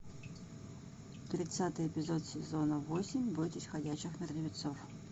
тридцатый эпизод сезона восемь бойтесь ходячих мертвецов